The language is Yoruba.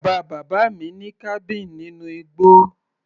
Bàbá bàbá mi ní cabin nínú igbó.